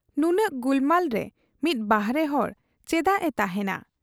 ᱱᱩᱱᱟᱹᱜ ᱜᱩᱞᱢᱟᱞ ᱨᱮ ᱢᱤᱫ ᱵᱟᱦᱨᱮ ᱦᱚᱲ ᱪᱮᱫᱟᱜ ᱮ ᱛᱟᱜᱦᱮᱸᱭᱟ ᱾